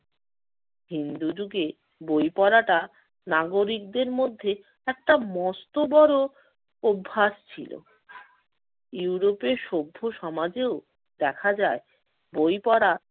হিন্দুযুগে বই পড়াটা নাগরিকদের মধ্যে একটা মস্ত বড় অভ্যাস ছিল। ইউরোপের সভ্য সমাজেও দেখা যায় বই পড়া